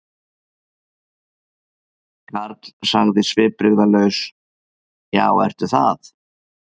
Karl sagði svipbrigðalaus: Já, ertu það?